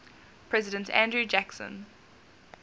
president andrew jackson